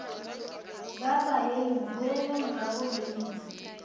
ba baeng boelang ga gabolena